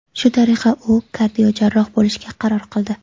Shu tariqa u kardiojarroh bo‘lishga qaror qildi.